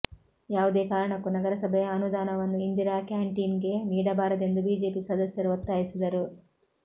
ಯಾವುದೇ ಕಾರಣಕ್ಕೂ ನಗರಸಭೆಯ ಅನುದಾನವನ್ನು ಇಂದಿರಾ ಕ್ಯಾಂಟೀನ್ಗೆ ನೀಡಬಾರದೆಂದು ಬಿಜೆಪಿ ಸದಸ್ಯರು ಒತ್ತಾಯಿಸಿದರು